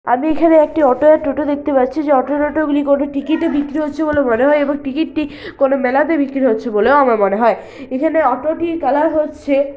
আমি এখানে একটি অটো আর টোটো দেখতে পাচ্ছি ।যেঅটো টোটো গুলি কোনো টিকিটে -এ বিক্রি হচ্ছে বলে মনে হয়। এবং টিকিট -টি কোনো মেলাতে বিক্রি হচ্ছে বলে আমার মনে হয় ।এখানে অটো -টির কালার হচ্ছে--